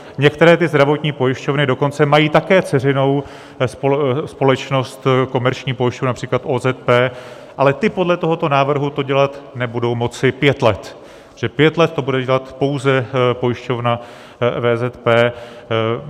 Některé ty zdravotní pojišťovny dokonce mají také dceřinou společnost, Komerční pojišťovna, například OZP, ale ty podle tohoto návrhu to dělat nebudou moci pět let, pět let to bude dělat pouze pojišťovna VZP.